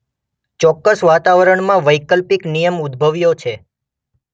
ચોક્કસ વાતાવરણમાં વૈકલ્પિક નિયમ ઉદભવ્યો છે.